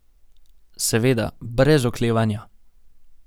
Seveda, brez oklevanja.